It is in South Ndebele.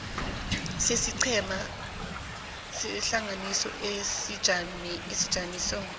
sesiqhema sehlangano sesijamiso